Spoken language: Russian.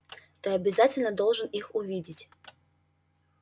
ты обязательно должен их увидеть